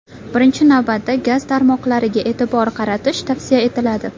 Birinchi navbatda gaz tarmoqlariga e’tibor qaratish tavsiya etiladi.